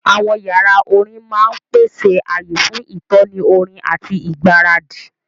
Àwọn yàrá orin máa ń pèsè ààyè fún ìtọ́ni orin àti ìgbáradì.